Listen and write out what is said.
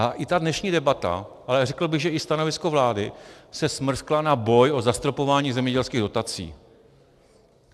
A i ta dnešní debata, ale řekl bych, že i stanovisko vlády, se smrskla na boj o zastropování zemědělských dotací.